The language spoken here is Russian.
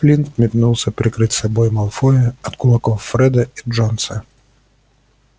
флинт метнулся прикрыть собой малфоя от кулаков фреда и джонса